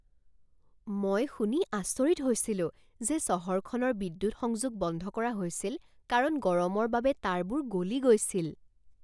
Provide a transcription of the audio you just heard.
মই শুনি আচৰিত হৈছিলো যে চহৰখনৰ বিদ্যুৎ সংযোগ বন্ধ কৰা হৈছিল কাৰণ গৰমৰ বাবে তাঁৰবোৰ গলি গৈছিল!